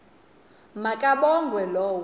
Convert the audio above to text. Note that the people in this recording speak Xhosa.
ma kabongwe low